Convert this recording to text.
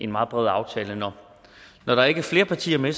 meget bred aftale og når der ikke er flere partier med